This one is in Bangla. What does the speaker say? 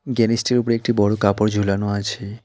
জ্ঞানিস -টির উপরে একটি বড় কাপড় ঝুলানো আছে।